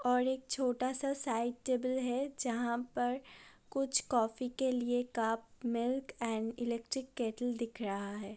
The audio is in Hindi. और एक छोटा सा साइड टेबल है जहां पर कुछ कॉफ़ी के लिए cup milk and electric kettle दिख रहा है।